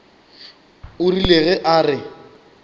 o rile ge a re